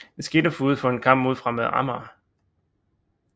Det skete forud for en kamp mod Fremad Amager